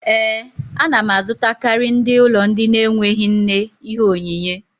Ee, a na m azụtakarị ndị ụlọ ndị na-enweghị nne ihe onyinyé